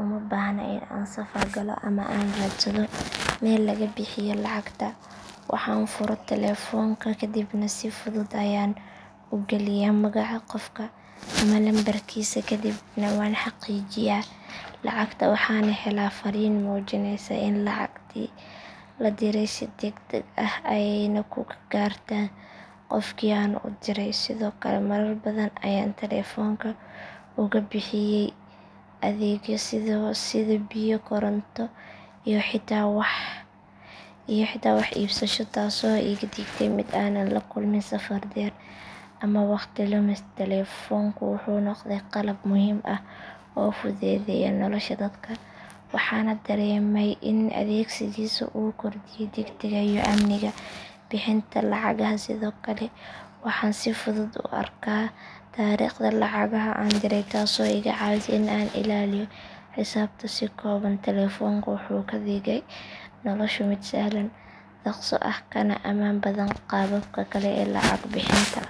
uma baahna in aan safar galo ama aan raadsado meel laga bixiyo lacagta waxaan furo telefoonka kaddibna si fudud ayaan u galiyaa magaca qofka ama lambarkiisa kadibna waan xaqiijiyaa lacagta waxaana helaa fariin muujinaysa in lacagtii la diray si degdeg ah ayayna ku gaartaa qofkii aan u dirayay sidoo kale marar badan ayaan telefoonka uga bixiyay adeegyo sida biyo koronto iyo xitaa wax iibsasho taasoo iga dhigtay mid aanan la kulmin safar dheer ama waqti lumis telefoonku wuxuu noqday qalab muhiim ah oo fududeeya nolosha dadka waxaana dareemay in adeegsigiisa uu kordhiyay degdegga iyo amniga bixinta lacagaha sidoo kale waxaan si fudud u arkaa taariikhda lacagaha aan diray taasoo iga caawisa in aan ilaaliyo xisaabta si kooban telefoonka wuxuu ka dhigay nolosha mid sahlan dhaqso ah kana ammaan badan qaababka kale ee lacag bixinta.